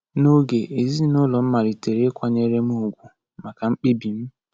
N’oge, ezinụlọ m malitere ịkwanyere m ùgwù maka mkpebi m.